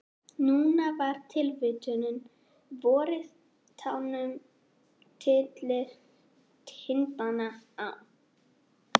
Núna var það tilvitnunin: Vorið tánum tyllir tindana á.